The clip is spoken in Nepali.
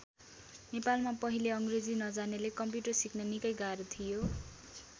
नेपालमा पहिले अङ्ग्रेजी नजान्नेले कम्प्युटर सिक्न निकै गाह्रो थियो।